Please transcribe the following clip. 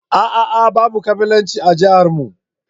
ah ah babu kabilanci a yankinmu.